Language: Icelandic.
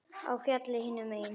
Á fjallið hinum megin.